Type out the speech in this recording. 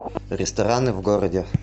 рестораны в городе